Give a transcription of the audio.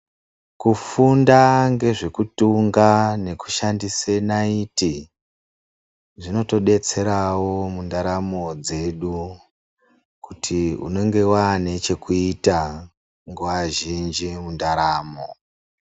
Kufunda ngezvekutunga nekushandise naiti zvinotodetserawo mundaramo dzedu kuti unenge wane chekuita nguwa zhinji mundaramo.